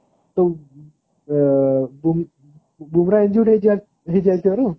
ତ ଆଁ ବୃମା injured ହେଇଯାଇଥିବାରୁ